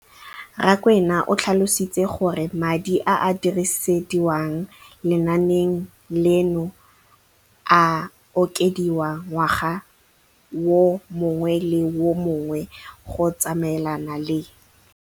Rakwena o tlhalositse gore madi a a dirisediwang lenaane leno a okediwa ngwaga yo mongwe le yo mongwe go tsamaelana le